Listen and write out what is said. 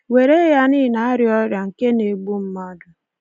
Were ya na ị na-arịa ọrịa nke na-egbu mmadụ.